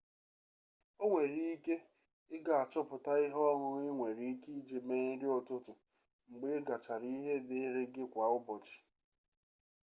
o nwere ike i ga-achọpụta ihe ọṅụṅụ i nwere ike iji mee nri ụtụtụ mgbe ị gachara ihe dịịrị gị kwa ụbọchị